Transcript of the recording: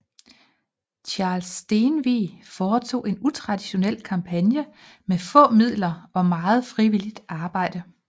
Charles Stenvig foretog en utraditionel kampagne med få midler og meget frivillingt arbejde